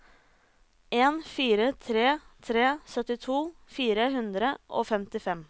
en fire tre tre syttito fire hundre og femtifem